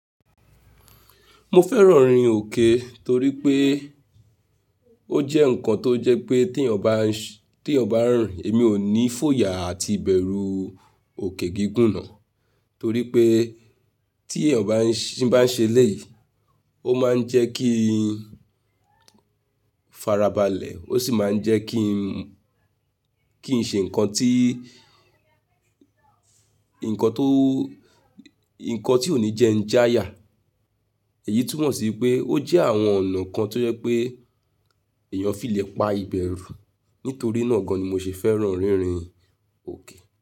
Mo fẹ́ràn orin òkè torí pé ó jẹ́ ǹkan tó jẹ́ pé tí èèyàn bá, tí èèyàn bá rìn èmi ò ní fòyà àti bẹ̀rù òkè gígùn náà. Torí pé tí èèyàn bá n ṣi bá ń ṣe lẹ́yìn, ó máa ń jẹ́ kí n fara balẹ̀, ó sì máa ń jẹ́ kí n, kí n ṣe ǹkan tí, ǹkan tó, ǹkan tí ò ní jẹ́ ń jáya. Èyí túmọ̀ sí pé ó jẹ́ àwọn ọ̀nà kan tó jẹ́ pé èèyàn ó fi lè pa ìbẹ̀rù. Nítorí náà gan ni mo ṣe fẹ́ràn rin rin òkè.